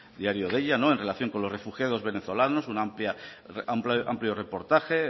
diario deia en relación con los refugiados venezolanos un amplio reportaje